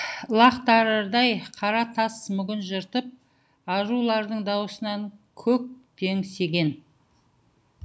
ылақтырардай қара тас мүгін жыртып арулардың даусынан көк теңсеген